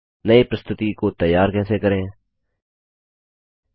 नई प्रस्तुतिप्रज़ेन्टैशन कैसे तैयार करें